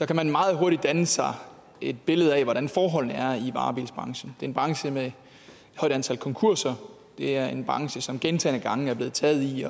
kan man meget hurtigt danne sig et billede af hvordan forholdene i varebilsbranchen er er en branche med et højt antal konkurser det er en branche som gentagne gange er blevet taget i